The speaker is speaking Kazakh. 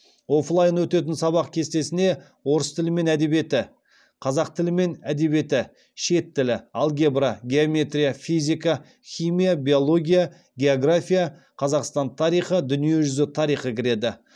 оффлайн өтетін сабақ кестесіне орыс тілі мен әдебиеті қазақ тілі мен әдебиеті шет тілі алгебра геометрия физика химия биология география қазақстан тарихы дүниежүзі тарихы кіреді